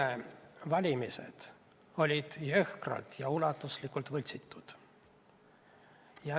Valgevene valimised olid jõhkralt ja ulatuslikult võltsitud.